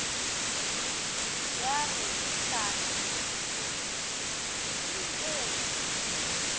ya re etlang re jeng